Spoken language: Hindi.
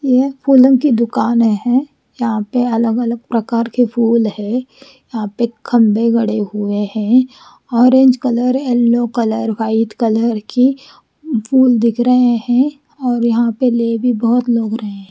यह फूलों की दुकान है यहां पे अलग अलग प्रकार के फूल है यहां पे खंभे गढ़े हुए है orange colour yellow colour white colour की फूल दिख रहे हैं और यहां पे ले भी बहुत लोग रहे हैं।